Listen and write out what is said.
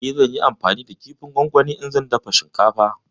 E, zan yi amfani da kifin gongoni idan zan dafa shinkafa.